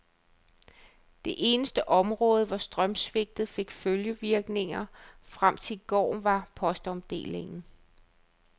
Det eneste område, hvor strømsvigtet fik følgevirkninger frem til i går, var postomdelingen.